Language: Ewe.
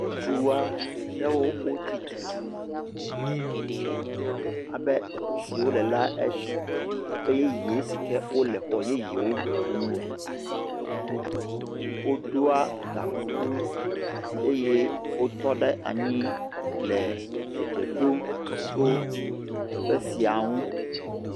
Ŋutsu aɖewo wotsitre, alebe teƒe si wole la eɖi abe teƒe yeye si ke wole xɔ yeyewo tum le, woɖoa gakuku eye wotɔ ɖe anyi le edze ɖom tso teƒe sia ŋu.